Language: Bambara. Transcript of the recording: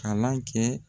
Kalan kɛ